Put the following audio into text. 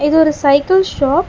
இது ஒரு cycle shop .